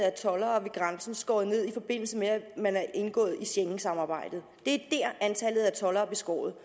af toldere ved grænsen skåret ned i forbindelse med at man er indgået i schengensamarbejdet det er der antallet af toldere er beskåret